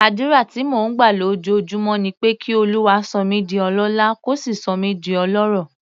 Àdúrà tí mò ń gbà lójoojúmọ́ ni pé kí Olúwa sọ mí di ọlọ́lá, kó sì sọ mí di ọlọ́rọ̀.